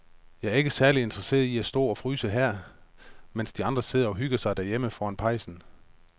Jeg er ikke særlig interesseret i at stå og fryse her, mens de andre sidder og hygger sig derhjemme foran pejsen.